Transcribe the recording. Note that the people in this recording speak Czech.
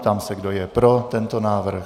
Ptám se, kdo je pro tento návrh.